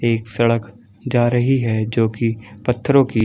एक सड़क जा रही है जो की पत्थरों की --